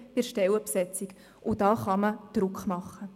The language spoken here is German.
Da kann man Druck machen.